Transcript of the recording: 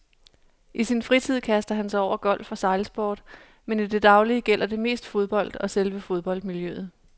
I sin fritid kaster han sig over golf og sejlsport, men i det daglige gælder det mest fodbold og selve fodboldmiljøet.